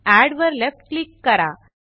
add वर left click करा